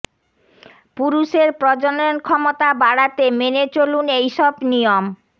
পুরুষের প্রজনন ক্ষমতা বাড়াতে মেনে চলুন এই সব নিয়ম